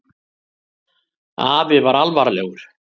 Afi var alvarlegur.